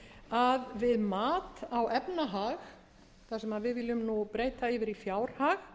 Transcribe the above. að við mat á efnahag sem við viljum breyta yfir í fjárhag